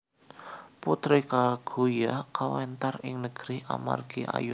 Putri Kaguya kawéntar ing negeri amargi ayu sanget